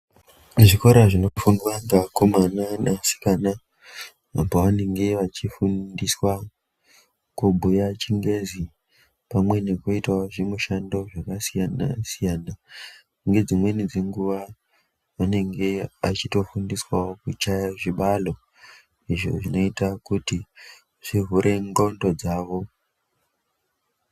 Kuzvikora zvinofundwa ngeakomana neasikana, apo vanenge vachinofundiswa kubhuya chingezi pamwe nekuitawo zvimushando zvakasiyana-siyana ngedzimweni dzenguwa anenge achitofundiswawo kuchaye zvibalo izvo zvinoita kuti zvivhure ndxondo dzavo.